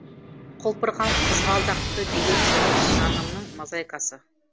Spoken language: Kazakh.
құлпырған қызғалдақты белең тұнып жанымның мозайкасы